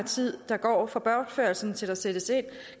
tiden der går fra bortførelsen til der sættes ind